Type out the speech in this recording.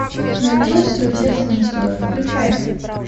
на любовь свое сердце настрою включай